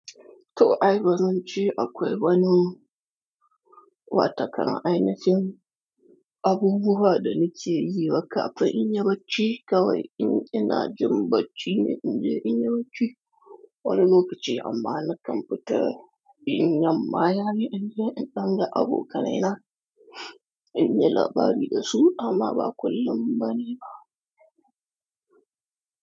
To ai bazance akwai wani wata kan ainahin abubuwa da na ce yi kafin in yi bacci kawai in ina jin bacci ne in je in yi bacci wani lokaci amma na kamfita in yamma ya yi inje in danga abokanai na. In yi labari da su amma ba kullum bane ba.